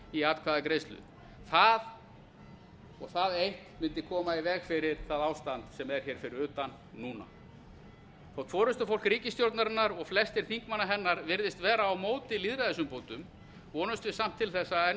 í atkvæðagreiðslu það og það eitt mundi koma í veg fyrir það ástand sem er hér fyrir utan núna þótt forustufólk ríkisstjórnarinnar og flestir þingmanna hennar virðist vera á móti lýðræðisumbótum vonumst við samt til þess að enn